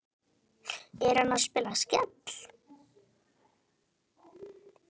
Er hann að spila Skell?